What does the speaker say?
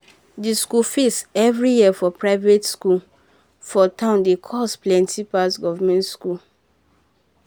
the school fees every year for private school for town dey cost plenty pass government school.